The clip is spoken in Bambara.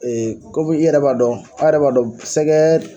komi i yɛrɛ b'a dɔn a' yɛrɛ b'a dɔn sɛgɛ